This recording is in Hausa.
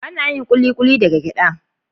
Ana yin Kulikuli daga gyada.